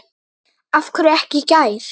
Af hverju ekki í gær?